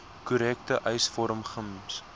korrekte eisvorm gems